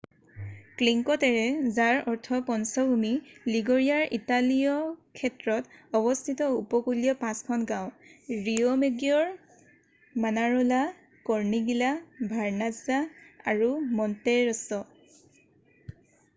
Cinque Terre যাৰ অৰ্থ পঞ্চভূমি লিগুৰিয়াৰ ইতালীয় ক্ষেত্ৰত অৱস্থিত উপকূলীয় পাঁচখন গাঁও ৰিঅʼমেগিঅʼৰ মানাৰʼলা কৰ্ণিগীলা ভাৰ্নাজ্জা আৰু মণ্টেৰʼছʼ।